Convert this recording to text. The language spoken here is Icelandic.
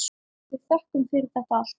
Við þökkum fyrir þetta allt.